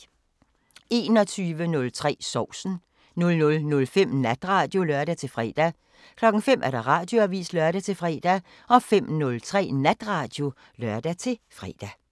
21:03: Sovsen 00:05: Natradio (lør-fre) 05:00: Radioavisen (lør-fre) 05:03: Natradio (lør-fre)